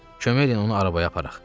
Kömək edin onu arabaya aparaq.